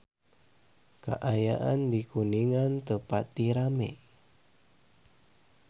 Kaayaan di Kuningan teu pati rame